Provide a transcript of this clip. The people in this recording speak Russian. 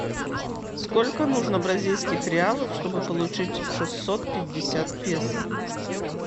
сколько нужно бразильских реалов чтобы получить шестьсот пятьдесят песо